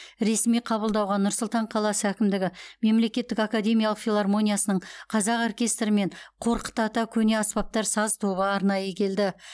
ресми қабылдауға нұр сұлтан қаласы әкімдігі мемлекеттік академиялық филармониясының қазақ оркестрі мен қорқыт ата көне аспаптар саз тобы арнайы келді